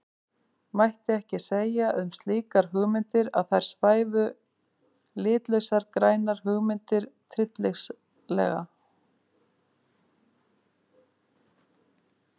Mætti ekki segja um slíkar hugmyndir að þar svæfu litlausar grænar hugmyndir tryllingslega?